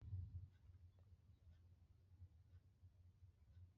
ọba n bá àwọn àrà ilu rẹ sọrọ nipasẹ Tẹlifísàn